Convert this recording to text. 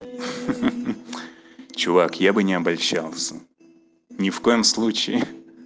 ха ха чувак я бы не обольщался ни в коем случае